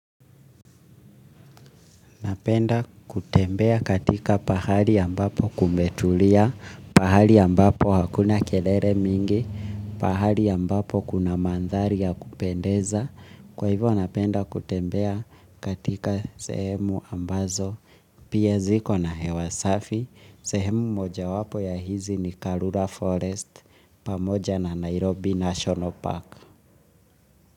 Napenda kutembea katika pahali ambapo kumetulia, pahali ambapo hakuna kelele mingi, pahali ambapo kuna mandhari ya kupendeza. Kwa hivyo napenda kutembea katika sehemu ambazo, pia ziko na hewa safi, sehemu moja wapo ya hizi ni Karura Forest, pamoja na Nairobi National Park.